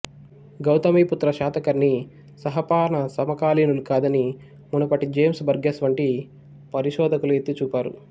గౌతమిపుత్ర శాతకర్ణి నహపాణ సమకాలీనులు కాదని మునుపటి జేమ్సు బర్గెస్ వంటి పరిశోకులు ఎత్తిచూపారు